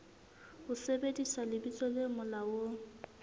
ho sebedisa lebitso le molaong